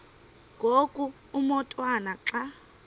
ngoku umotwana xa